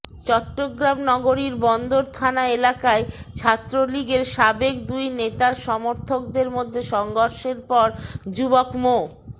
চট্টগ্রাম নগরীর বন্দর থানা এলাকায় ছাত্রলীগের সাবেক দুই নেতার সমর্থকদের মধ্যে সংঘর্ষের পর যুবক মো